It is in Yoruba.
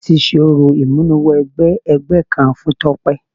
Wọ́n ti ṣe orò ìmúniwẹgbẹ́ ẹgbẹ́ kan fún Tọ́pẹ́.